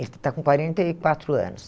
Ele está com quarenta e quatro anos.